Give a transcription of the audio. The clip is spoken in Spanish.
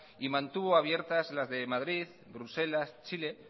y mantuvo abiertas las de madrid bruselas chile